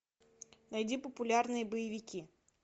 найди популярные боевики